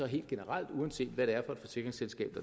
helt generelt uanset hvad det er for et forsikringsselskab